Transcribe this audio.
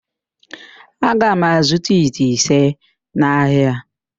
Aga m azụta ite ise n'ahịa.